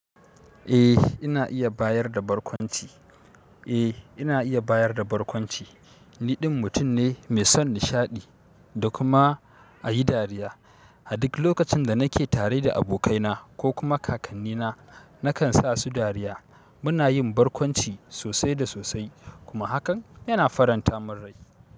Eh ina iya bayar da barkwanci. Eh ina iya bayar da barkwanci. Niɗin mutum ne mai son nishaɗi da kuma a yi dariya. A duk lokacin da nake tare da abokaina ko kuma kakannina, nakan sa su dariya. Muna yin barkwanci sosai da sosai kuma hakan yana faranta mun rai.